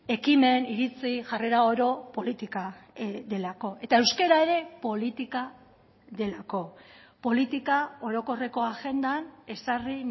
ekimen iritzi jarrera oro politika delako eta euskara ere politika delako politika orokorreko agendan ezarri